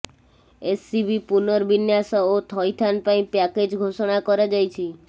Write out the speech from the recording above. SCB ପୁନର୍ବିନ୍ୟାସ ଓ ଥଇଥାନ ପାଇଁ ପ୍ୟାକେଜ୍ ଘୋଷଣା କରାଯାଇଛି